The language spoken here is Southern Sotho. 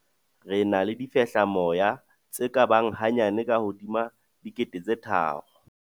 "Re na le difehlamoya tse ka bang hanyane ka hodima 3 000."